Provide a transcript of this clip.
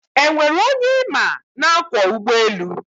e nwere onye ịma na-akwọ ụgbọelu?